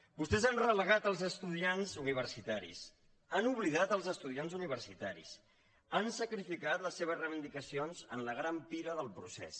vostès han relegat els estudiants universitaris han oblidat els estudiants universitaris han sacrificat les seves reivindicacions en la gran pira del procés